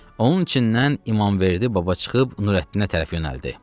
Onun içindən İmamverdi baba çıxıb Nurəddinə tərəf yönəldi.